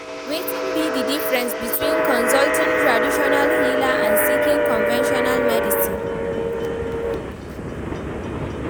Wetin be di difference between consulting traditional healer and seeking conventional medicine?